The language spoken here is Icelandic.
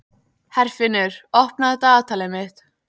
Herfinnur, opnaðu dagatalið mitt.